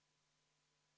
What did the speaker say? See oli detail?!